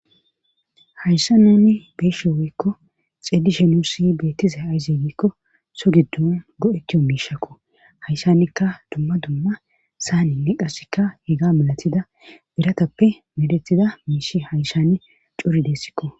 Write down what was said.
Hayssa nuuni beyeshe weykko xeellishe nussi beettize aaze giikko so giddon go7ettiyo miishakko hayssanekka dumma dumma saaninne qassikka hega malatida biratappe medetida miishi hayssanI cori deessikk.